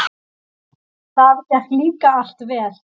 Það gekk líka allt vel.